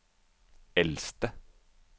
eldste